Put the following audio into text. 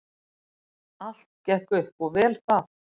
Allt gekk upp og vel það.